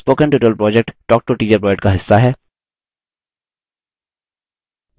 spoken tutorial project talktoateacher project का हिस्सा है